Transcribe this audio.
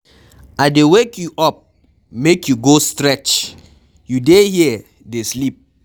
I dey wake you up make you go stretch you dey here dey sleep